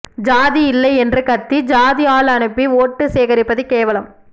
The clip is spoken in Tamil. ஜாதி இல்லை என்று கத்தி ஜாதி ஆள் அனுப்பி வோட்டு சேகரிப்பது கேவலம்